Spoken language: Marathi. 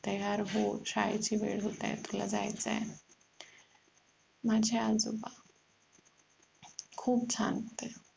तयार हो शाळेची वेळ होत आहे आपल्याला जायचं हे माझे आजोबा खूप शांत